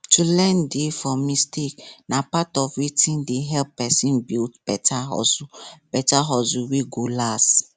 to learn dey from mistake na part of wetin dey help person build better hustle better hustle wey go last